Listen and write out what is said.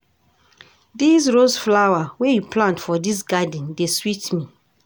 Dese rose flower wey you plant for dis garden dey sweet me.